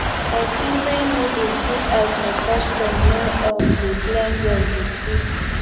pesin wey no dey put eye for custom no um dey blend well with pipo